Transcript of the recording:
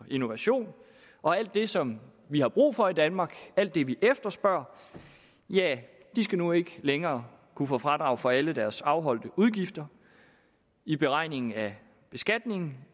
innovation og alt det som vi har brug for i danmark alt det vi efterspørger skal nu ikke længere kunne få fradrag for alle deres afholdte udgifter i beregningen af skatten